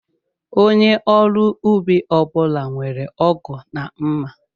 Onye ọrụ ubi ọbula nwèrè ọgụ na mma